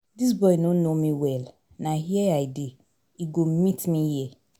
Dis boy no know me well, na here I dey. He go meet me here.